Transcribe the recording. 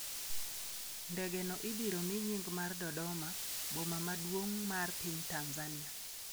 Ndege no ibiro mi nying mar Dodoma, boma maduong' mar piny Tanzania.